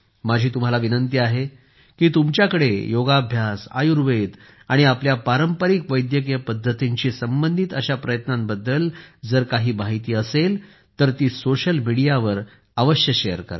माझी तुम्हाला विनंती आहे की तुमच्याकडे योगाभ्यास आयुर्वेद आणि आपल्या पारंपारिक वैद्यकीय पद्धतींशी संबंधित अशा प्रयत्नांबद्दल काही माहिती असेल तर ती सोशल मीडियावर अवश्य शेअर करा